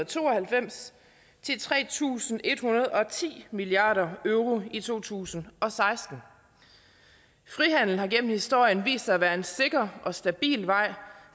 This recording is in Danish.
to og halvfems til tre tusind en hundrede og ti milliard euro i to tusind og seksten frihandel har gennem historien vist sig at være en sikker og stabil vej